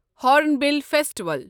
hornbill festival